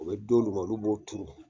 U bɛ don d'u ma olu b'o turu.